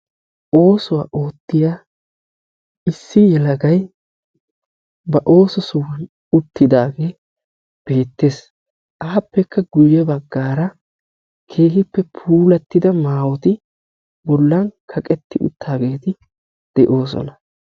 Oosuwa oottiya issi yelagay ba ooso sohuwan uttidaage beettes. Aappekka guyye baggaara keehippe puulattida maayoti bollan kaqetti uttaageeti de'oosona.